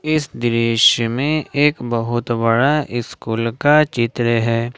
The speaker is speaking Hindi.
इस दृश्य में एक बहुत बड़ा स्कूल का चित्र है।